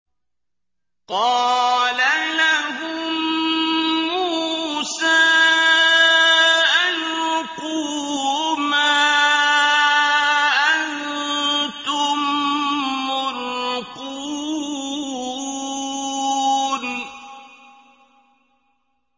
قَالَ لَهُم مُّوسَىٰ أَلْقُوا مَا أَنتُم مُّلْقُونَ